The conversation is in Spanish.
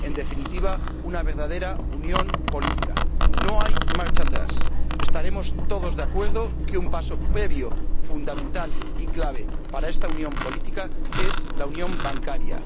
En definitiva, una verdadera unión política. No hay marcha atrás. Estaremos todos de acuerdo en que un paso previo, fundamental y clave para esta unión política es la unión bancaria.